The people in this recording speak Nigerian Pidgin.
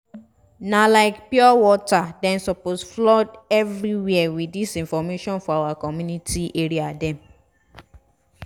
na like pure water - dem suppose flood everywhere with dis information for our community area dem